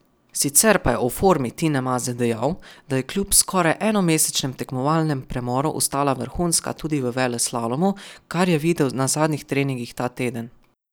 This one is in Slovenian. Sicer pa je o formi Tine Maze dejal, da je kljub skoraj enomesečnem tekmovalnem premoru ostala vrhunska tudi v veleslalomu, kar je videl na zadnjih treningih ta teden.